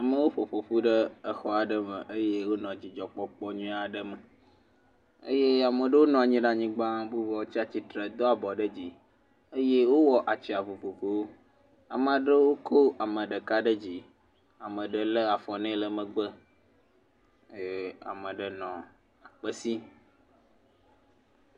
Amewo ƒoƒoƒu ɖe exɔ aɖe me eye wonɔ dzidzɔkpɔkpɔ nyui aɖe me eye ame ɖewo nɔ nyi ɖe anyigba bubuawo tsa titre do abɔ ɖe dzi eye wowɔ atsyiã vovovowo. Ama ɖewo ko ame ɖeka ɖe dzi. Ame ɖe lé afɔ nɛ le megbe eyame ɖe nɔ akpe sim.